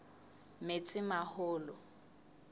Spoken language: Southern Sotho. metsimaholo